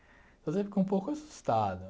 Quer dizer, fiquei um pouco assustado.